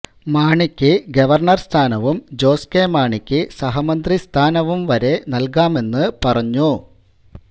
മാണിക്ക് ഗവർണ്ണർ സ്ഥാനവും ജോസ് കെ മാണിക്ക് സഹമന്ത്രിസ്ഥാനവും വരെ നൽകാമെന്ന് പറഞ്ഞു